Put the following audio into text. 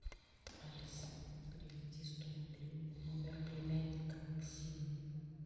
алиса переведи сто рублей на номер племянника максима